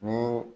Ni